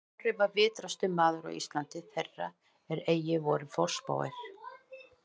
Snorri var vitrastur maður á Íslandi þeirra er eigi voru forspáir